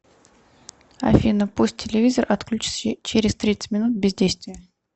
афина пусть телевизор отключится через тридцать минут бездействия